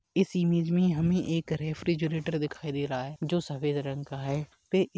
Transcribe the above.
इस इमेज मे हमे एक रेफ्रीजरेटर दिखाई दे रहा है जो सफेद रंग का है पे --